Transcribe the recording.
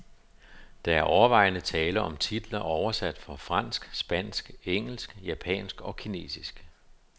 Der er overvejende tale om titler oversat fra fransk, spansk, engelsk, japansk og kinesisk.